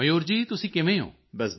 ਮਯੂਰ ਜੀ ਤੁਸੀਂ ਕਿਵੇਂ ਹੋ